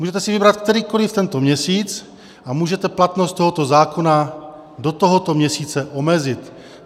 Můžete si vybrat kterýkoliv tento měsíc a můžete platnost tohoto zákona do tohoto měsíce omezit.